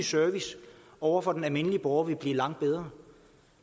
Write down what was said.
servicen over for den almindelige borger vil blive langt bedre